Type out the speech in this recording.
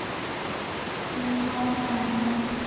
ਹੱਮ ਨਾਈ ਆਉਂਦੇ